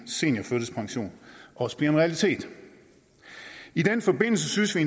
seniorførtidspension også bliver en realitet i den forbindelse synes vi